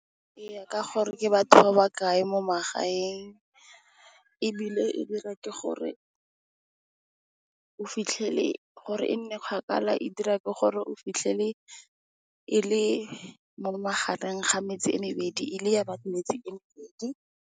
Eya ka gore ke batho ba ba kae mo magaeng ebile, gore o fitlhelele gore e nne kgakala e dirwa ke gore e mo magare ga metsi e mebedi, e le ya metsi e mebedi.